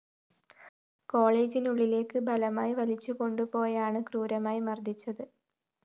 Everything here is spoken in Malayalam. കോളജിനുള്ളിലേക്ക് ബലമായി വലിച്ചു കൊണ്ടുപോയാണ് ക്രൂരമായി മര്‍ദിച്ചത്